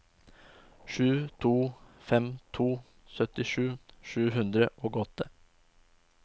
sju to fem to syttisju sju hundre og åtte